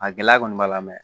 A gɛlɛya kɔni b'a la mɛ